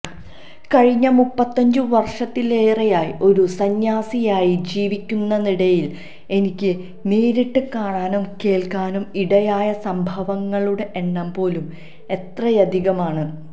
കഴിഞ്ഞ മുപ്പത്തഞ്ചു വർഷത്തിലേറെയായി ഒരു സന്ന്യാസിനിയായി ജീവിക്കുന്നതിനിടയിൽ എനിക്ക് നേരിട്ട് കാണാനും കേൾക്കാനും ഇടയായ സംഭവങ്ങളുടെ എണ്ണം പോലും എത്രയധികമാണ്